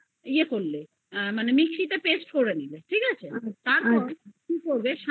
তা তুমি mixie তে paste করে নিলে তারপরে কি করবে